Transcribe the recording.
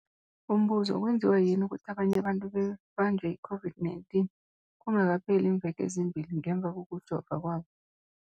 Umbuzo, kwenziwa yini ukuthi abanye abantu babanjwe yi-COVID-19 kungakapheli iimveke ezimbili ngemva kokujova kwabo?